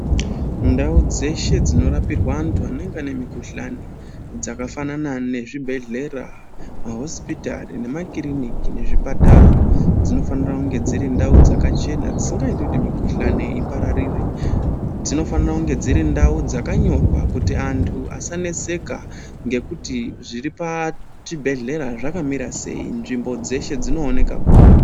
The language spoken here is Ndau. Ndau dzeshe dzinorapirwa anthu anenge ane mikhuhlani dzakafanana mezvibhehlera mahosipitari nemakiriniki nezvipatara dzinofanira kunge dziri ndau dzakachena dzisingaiti kuti mikhuhlani ipararire, dzinofanire kunge dziri ndau dzakanyorwa kuti anthu asaneseka ngekuti zviri pachibhedhera zvakamira sei. Nzvimbo dzeshe dzinooneka kuri.